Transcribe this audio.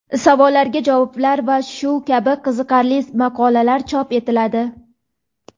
savollarga javoblar va shu kabi qiziqarli maqolalar chop etiladi.